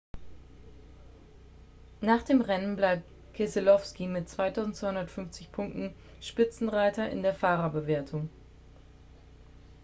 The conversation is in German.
nach dem rennen bleibt keselowski mit 2.250 punkten spitzenreiter in der fahrerwertung